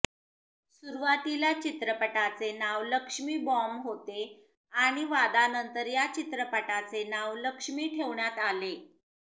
सुरूवातीला चित्रपटाचे नाव लक्ष्मी बॉम्ब होते आणि वादानंतर या चित्रपटाचे नाव लक्ष्मी ठेवण्यात आले